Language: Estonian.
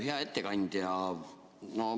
Hea ettekandja!